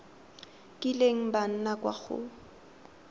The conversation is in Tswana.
kileng ba nna kwa go